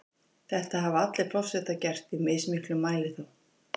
Þetta hafa allir forsetar gert, í mismiklum mæli þó.